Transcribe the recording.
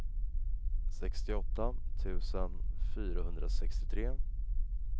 sextioåtta tusen fyrahundrasextiotre